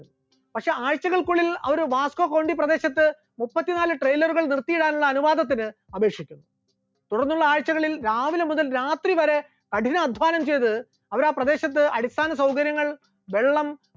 പക്ഷെ ആഴ്ചകൾക്കുള്ളിൽ അവർ വാസ്‌ക്കോഗോണ്ടി പ്രദേശത്ത് മുപ്പത്തിനാല് trailer കൾ നിർത്തിയിടാനുള്ള അനുവാദത്തിന് അപേക്ഷിക്കുകയുണ്ടായി, തുടർന്നുള്ള ആഴ്ചകളിൽ രാവിലെ മുതൽ രാത്രി വരെ കഠിനാധ്വാനം ചെയ്ത് അവർ ആ പ്രദേശത്ത് അടിസ്ഥാന സൗകര്യങ്ങൾ, വെള്ളം